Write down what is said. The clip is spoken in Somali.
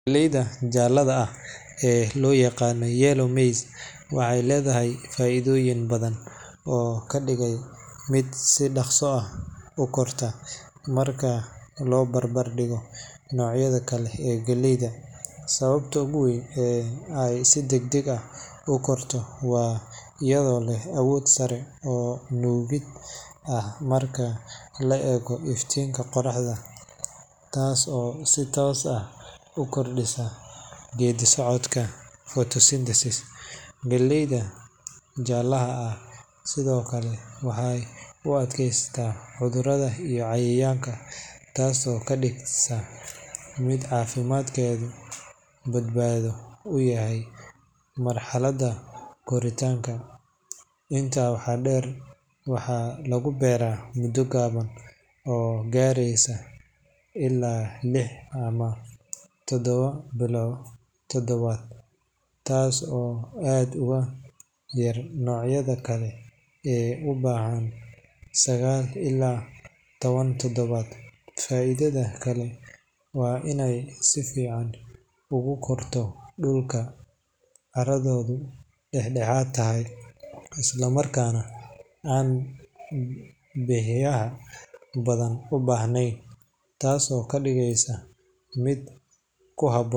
Galleyda jaalaha ah ee loyagano yellow maize[cswaxay ledahay faidoyin badan oo kadigay mid si dagsi ah ukorta, marka lobarbardigo nicyada kale ee galeeyda, sawabta oguwen ee ay si dagdag ah ukorto wa ayado leh awod sare oo lubid ah, marka laego iftinka qorahda, taas oo si toss ah ukordisa gedi socodka photosynthesis galeeyda jalaha ah Sidhokale waxay uadkeysata cudurada iyo cayayanka taas oo kadigeysa mid cafimadkedu badbado yahay, marhalada korintanka inta waxa deer waxa lagubera muda gaaban oo gareysa illa lix ama tadawa tadawad taas oo aad ogayar nocyada kale ee, sida tawan tadawad faidada kale wa inay si fican ogakorto dulka caradodu daxdaxat tahay, islamarkana beraha badan ubahnen mid kuhaboon.